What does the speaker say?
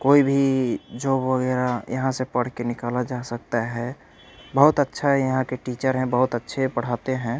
कोई भी जॉब वगैरा यहां से पढ़ के निकाला जा सकता है बहोत अच्छा ही यहां के टीचर हैं बहोत अच्छे पढ़ते हैं।